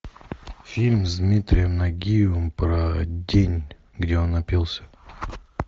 фильм с дмитрием нагиевым про день где он напился